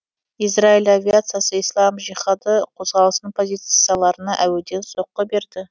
израиль авиациясы ислам жиһады қозғалысының позицияларына әуеден соққы берді